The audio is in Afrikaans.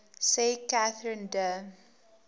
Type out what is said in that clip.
sê katherine de